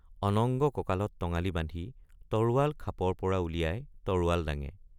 অনঙ্গ কঁকালত টঙালি বান্ধি তৰোৱাল খাপৰপৰা উলিয়াই তৰোৱাল দাঙে।